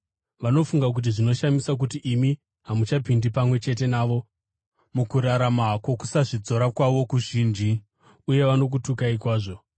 Vanofunga kuti zvinoshamisa kuti imi hamuchapindi pamwe chete navo mukurarama kwokusazvidzora kwavo kuzhinji, uye vanokutukai kwazvo.